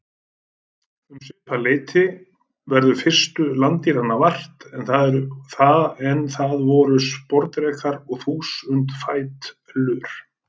Um svipað leyti verður fyrstu landdýranna vart, en það voru sporðdrekar og þúsundfætlur.